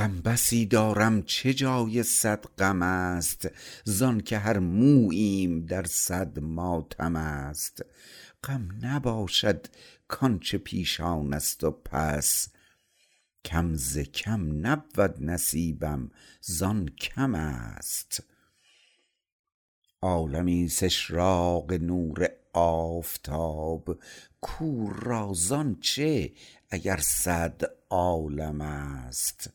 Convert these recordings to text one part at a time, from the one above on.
غم بسی دارم چه جای صد غم است زانکه هر موییم در صد ماتم است غم نباشد کانچه پیشان است و پس کم ز کم نبود نصیبم زان کم است عالمی است اشراق نور آفتاب کور را زانچه اگر صد عالم است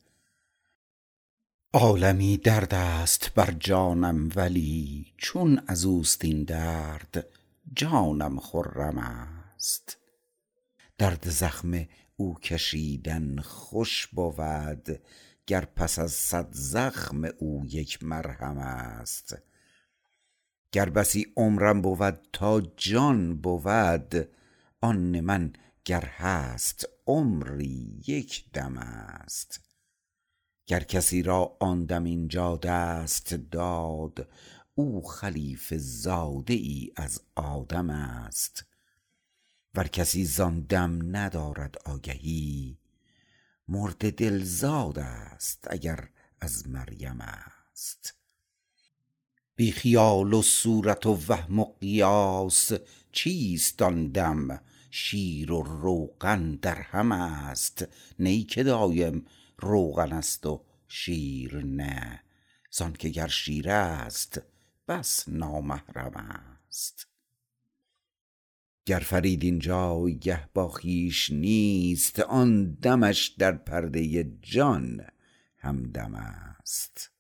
عالمی دردست بر جانم ولی چون ازوست این درد جانم خرم است درد زخم او کشیدن خوش بود گر پس از صد زخم او یک مرهم است گر بسی عمرم بود تا جان بود آن من گر هست عمری یک دم است گر کسی را آن دم اینجا دست داد او خلیفه زاده ای از آدم است ور کسی زان دم ندارد آگهی مرده دل زاد است اگر از مریم است بی خیال و صورت وهم و قیاس چیست آن دم شیر و روغن درهم است نی که دایم روغن است و شیر نه زانکه گر شیر است بس نامحرم است گر فرید این جایگه با خویش نیست آن دمش در پرده جان همدم است